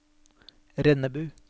Rennebu